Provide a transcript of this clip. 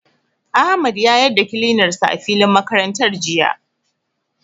Ahmad ya yar da kilinar sa a filin makarantar jiya.